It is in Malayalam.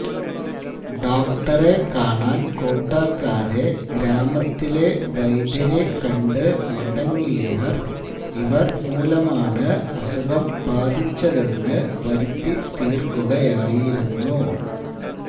ഡോക്ടറെ കാണാന് കൂട്ടാക്കാതെ ഗ്രാമത്തിലെ വൈദ്യരെ കണ്ട് മടങ്ങിയവര് ഇവര് മൂലമാണ് അസുഖം ബാധിച്ചതെന്ന് വരുത്തി തീര്ക്കുകയായിരുന്നു